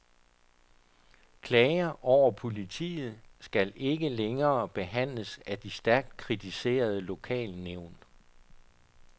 Klager over politiet skal ikke længere behandles af de stærkt kritiserede lokalnævn.